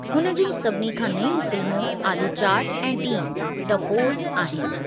हुन जूं सभिनी खां नयूं फिल्मूं आलू चाट ऐं टीम: द फोर्स आहिनि।